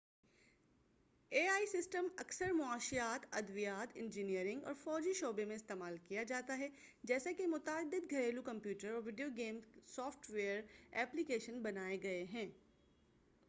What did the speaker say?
ابھی ai system اکثر معاشیات ادویات انجینئرنگ اور فوجی شعبے میں استعمال کیا جاتا ہے جیسے کہ متعدد گھریلو کمپیوٹر اور video game software application بنائے گئے ہیں